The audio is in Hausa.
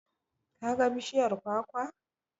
Ka ga bishiyar kwakwa?